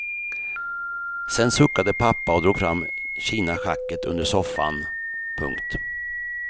Sen suckade pappa och drog fram kinaschacket under soffan. punkt